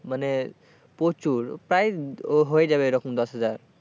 মানে প্রচুর প্রায় হয়ে যাবে এরকম দশ হাজার।